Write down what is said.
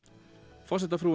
forsetafrúin